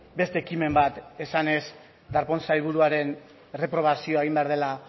beste ekimen bat esanez darpón sailburuaren erreprobazioa egin behar dela